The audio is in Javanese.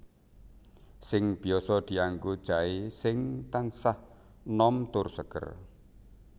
Sing biasa dianggo jaé sing tansah nom tur seger